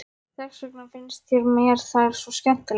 Þess vegna finnst mér þær svo skemmtilegar.